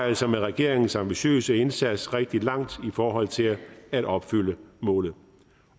altså med regeringens ambitiøse indsats nået rigtig langt i forhold til at opfylde målet